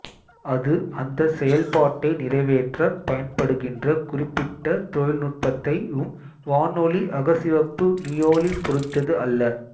அது அந்தச் செயல்பாட்டை நிறைவேற்றப் பயன்படுகின்ற குறிப்பிட்ட தொழில்நுட்பத்தை உ ம் வானொலி அகச்சிவப்பு மீயொலி பொறுத்தது அல்ல